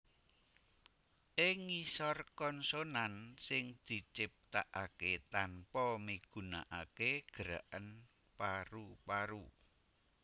Ing ngisor konsonan sing diciptakaké tanpa migunakaké gerakan paru paru